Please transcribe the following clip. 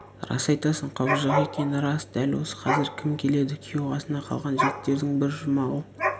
рас айтасың құбыжық екені рас дәл осы қазір кім келеді күйеу қасында қалған жігіттердің бірі жұмағұл